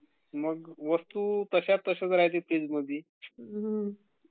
वस्तु जश्याच्या तश्या राहाते फ्रीजमधी..